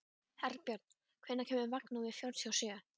Herbjörn, hvenær kemur vagn númer fjörutíu og sjö?